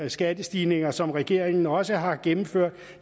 skattestigninger som regeringen også har gennemført